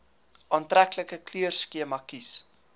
aantreklike kleurskema kies